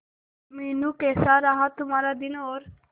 मीनू कैसा रहा तुम्हारा दिन और